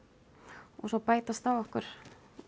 og svo bætast á okkur